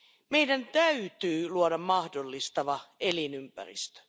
Meidän täytyy luoda mahdollistava elinympäristö.